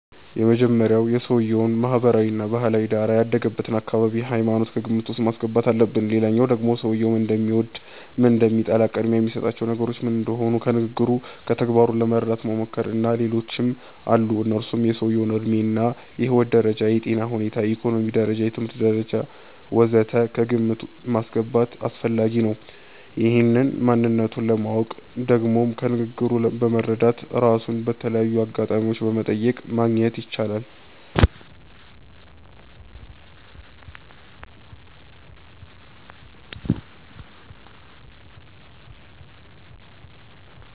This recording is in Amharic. የመጀመሪያዉ የሰዉየዉን ማህበራዊ እና ባህላዊ ዳራ፣ ያደገበትን አካባቢ፣ ሃይማኖት ከግምት ዉስጥ ማስገባት አለብን ሌላዉ ደግሞ ሰዉየዉ ምን እንደሚወድ፣ ምን እንደሚጠላ፣ ቅድሚያ የሚሰጣቸው ነገሮች ምን እንደሆኑ ከንግግሩ፣ ከተግባሩ ለመረዳት መሞከር። እና ሌሎችም አሉ እነሱም የሰዉየዉ ዕድሜ እና የህይወት ደረጃ፣ የጤና ሁኔታ፣ የኢኮኖሚ ደረጃ፣ የትምህርት ደረጃ ወ.ዘ.ተ ከግምት ማስገባት አስፈላጊ ነዉ። ይህን ማንነቱን ለማወቅ ደግሞ ከንግግሩ በመረዳት፣ ራሱን በተለያዩ አጋጣሚዎች በመጠየቅ ማግኘት ይቻላል